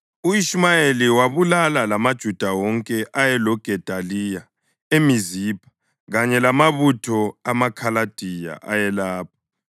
U-Ishumayeli wabulala lamaJuda wonke ayeloGedaliya eMizipha kanye lamabutho amaKhaladiya ayelapho.